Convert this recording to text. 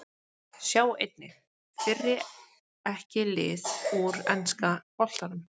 Sjá einnig: Fyrri EKKI lið úr enska boltanum